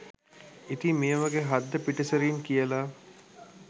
ඉතින් මේ වගේ හද්ද පිටිසරින් කියල